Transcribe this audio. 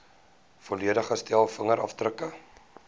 volledige stel vingerafdrukke